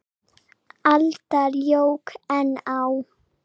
aldar jók enn á.